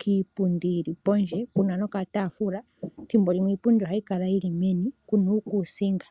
kiipundi pondje puna nokataafula. Thimbo limwe iipundi ohayi kala yili meni kuna uukusinga.